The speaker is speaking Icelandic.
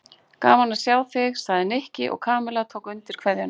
Gaman að sjá þig sagði Nikki og Kamilla tók undir kveðjuna.